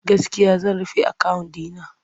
Gaskiya zan rufe akawun ɗi na.